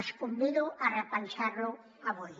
els convido a repensar lo avui